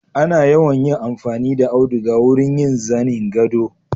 Ana yawan yin amfani da auduga wurin yin zanin gado.